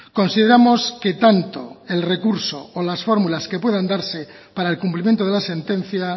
consideramos que tanto el recurso o las fórmulas que puedan darse para el cumplimiento de la sentencia